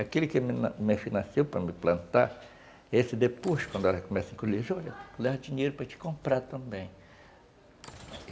Aquele que me financiou para me plantar, esse depois, quando ela começa a colher, olha, leva dinheiro para te comprar também.